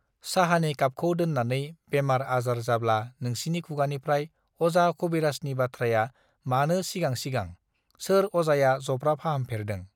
साहानि खापखौ दोन्नानै बेमार आजार जाब्ला नोंसिनि खुगानिफ्रय अजा खबिराजनि बाथ्राया मानो सिगां सिगां सर अजाया जब्रा फाहाम फेरदों